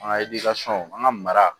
An ka an ka mara